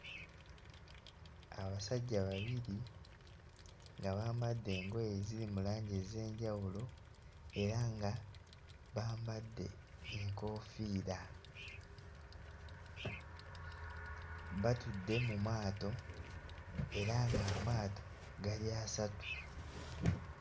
Abasajja babiri nga bambadde engoye eziri mu langi ez'enjawulo era nga bambadde enkofiira, batudde mu maato era ng'amaato gali asatu.